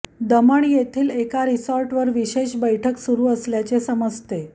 दमण येथील एका रिसॉर्टवर विशेष बैठक सुरू असल्याचे समजते